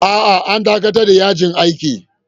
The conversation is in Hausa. A'a, an dakatar da yajin aikin